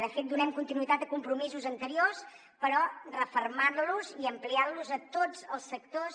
de fet donem continuïtat a compromisos anteriors però refermant los i ampliant los a tots els sectors